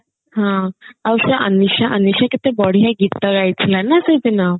ଆଉ ସେ ଅନିଶା ଅନିଶା କେତେ ବଢିଆ ଗୀତ ଗାଇଥିଲା ନା ସେଦିନ